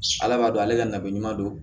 Ala b'a dɔn ale ka na ɲuman don